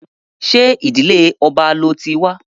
Ṣé ìdílé ọba lo ti wa?